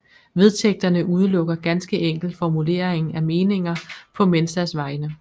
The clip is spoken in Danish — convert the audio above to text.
Vedtægterne udelukker ganske enkelt formulering af meninger på Mensas vegne